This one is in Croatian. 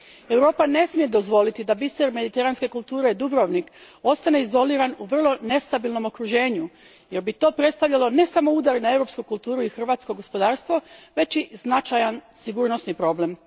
Europa ne smije dozvoliti da biser mediteranske kulture, Dubrovnik, ostane izoliran u vrlo nestabilnom okruženju jer bi to predstavljalo ne samo udar na europsku kulturu i hrvatsko gospodarstvo, već i značajan sigurnosni problem.